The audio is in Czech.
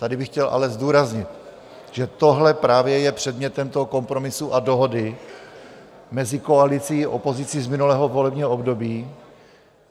Tady bych ale chtěl zdůraznit, že tohle právě je předmětem toho kompromisu a dohody mezi koalicí a opozicí z minulého volebního období.